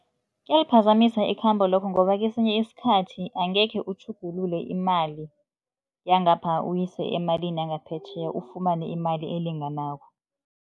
Kuyaliphazamisa ikhambo lokho ngoba kesinye isikhathi angekhe utjhugulule imali yangapha uyise emalini yangaphetjheya, ufumane imali elinganako.